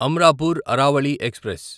Amrapur Aravali express